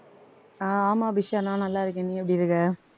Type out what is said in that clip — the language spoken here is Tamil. அஹ் ஆமா அபிஷா நான் நல்லாயிருக்கேன் நீ எப்படி இருக்க?